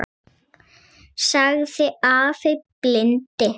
sagði afi blindi.